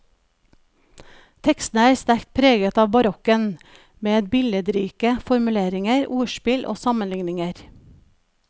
Tekstene er sterkt preget av barokken, med billedrike formuleringer, ordspill og sammenligninger.